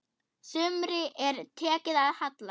Sumri er tekið að halla.